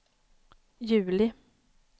juli